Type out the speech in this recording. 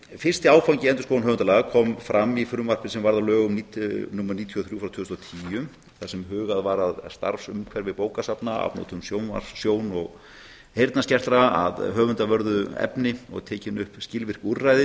fyrsti áfangi endurskoðunar höfundalaga kom fram í frumvarpi sem varðar lög númer níutíu og þrjú frá tvö þúsund og tíu þar sem hugað var að starfsumhverfi bókasafna afnotum sjón og heyrnarskertra af höfundavörðu efni og tekin upp skilvirk úrræði